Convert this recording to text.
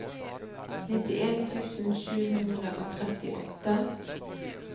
nittien tusen sju hundre og trettiåtte